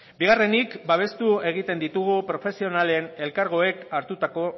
bigarrenik babestu egiten ditugu profesionalen elkargoek hartutako